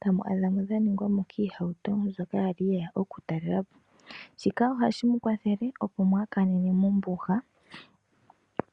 tamu adha dha ningwa mo kiihauto mbyoka yali yeya oku talelapo. Shika ohashi mu kwathele opo mwaakanene mombuga.